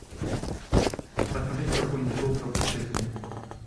посмотреть какое нибудь шоу про путешествия